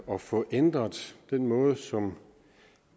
at få ændret den måde som